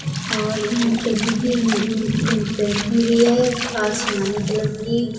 और मम टंकी की मम्म पेंटिंग भी है आसमानी कलर की --